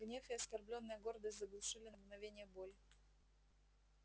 гнев и оскорблённая гордость заглушили на мгновение боль